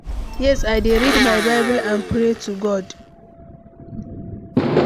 Yes, i dey read my Bible and pray to God.